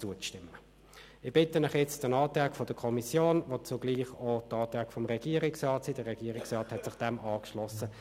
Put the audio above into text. Es sind Leute der Burgergemeinde und der Gemeinde Wilderswil.